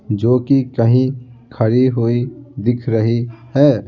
जो कि कहीं खड़ी हुई दिख रही है।